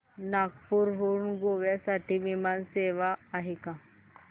नागपूर हून गोव्या साठी विमान सेवा आहे का